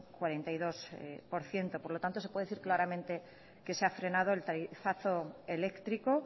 cuarenta y dos por ciento por lo tanto se puede decir claramente que se ha frenado el tarifazo eléctrico